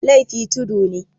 laifi tudu ne